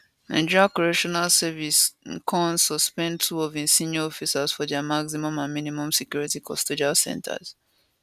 nigerian correctional service ncos suspend two of im senior officers for dia maximum and minimum security custodial centres